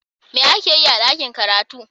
me ake Yi a dakin karatu?